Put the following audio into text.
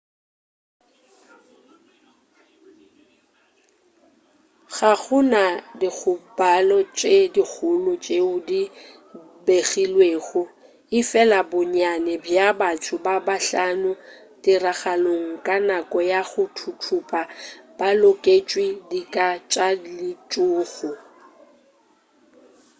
ga go na dikgobalo tše dikgolo tšeo di begilwego efela bonnyane bja batho ba bahlano tiragalong ka nako ya go thuthupa ba lekotšwe dika tša letšhogo